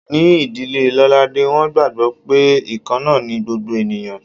Ní ìdílé Lolade, wọ́n gbàgbó pé ikanna ni gbogbo ènìyàn.